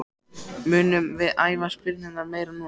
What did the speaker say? Munum við æfa spyrnurnar meira núna?